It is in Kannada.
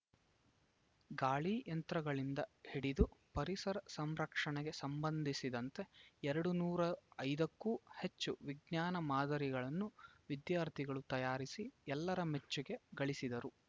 ಗಾಳಿ ಯಂತ್ರಗಳಿಂದ ಹಿಡಿದು ಪರಿಸರ ಸಂರಕ್ಷಣೆಗೆ ಸಂಬಂಧಿಸಿದಂತೆ ಎರಡು ನೂರು ಐದಕ್ಕೂ ಹೆಚ್ಚು ವಿಜ್ಞಾನ ಮಾದರಿಗಳನ್ನು ವಿದ್ಯಾರ್ಥಿಗಳು ತಯಾರಿಸಿ ಎಲ್ಲರ ಮೆಚ್ಚುಗೆ ಗಳಿಸಿದರು